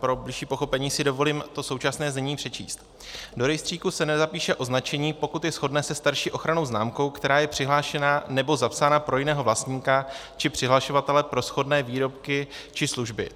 Pro bližší pochopení si dovolím to současné znění přečíst: "Do rejstříku se nezapíše označení, pokud je shodné se starší ochrannou známkou, která je přihlášena nebo zapsána pro jiného vlastníka či přihlašovatele pro shodné výrobky či služby;